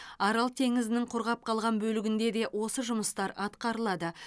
арал теңізінің құрғап қалған бөлігінде де осы жұмыстар атқарылады